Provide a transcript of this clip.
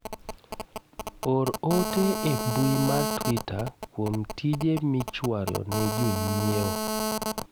or ote e mbui mar twita kuom tije miichwalo ne jonyiewo